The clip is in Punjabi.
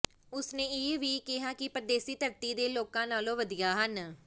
ਉਸਨੇ ਇਹ ਵੀ ਕਿਹਾ ਕਿ ਪਰਦੇਸੀ ਧਰਤੀ ਦੇ ਲੋਕਾਂ ਨਾਲੋਂ ਵਧੀਆ ਹਨ